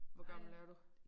Hvor gammel er du?